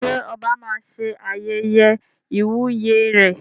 Ṣé oba máa ṣe ayẹyẹ ìwúyè rẹ̀?